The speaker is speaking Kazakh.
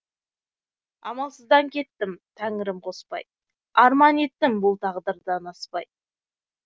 амалсыздан кеттім тәңірім қоспай арман еттім бұл тағдырдан аспай